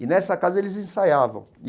E, nessa casa, eles ensaiavam.